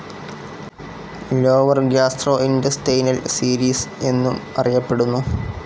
Lower gastrointestinal series എന്നും അറിയപ്പെടുന്നു.